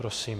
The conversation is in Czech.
Prosím.